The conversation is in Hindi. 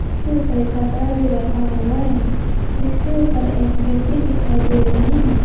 इसके उपर एक कपड़ा भी रखा हुआ है इसके ऊपर एक व्यक्ति दिखाई दे रहे हैं।